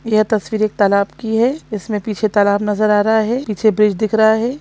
यह तस्वीर एक तालाब की है इसमें पीछे तालाब नजर आ रहा है पीछे ब्रिज दिख रहा है।